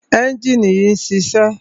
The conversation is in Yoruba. ẹ́njìnì yìí ń ṣiṣẹ́.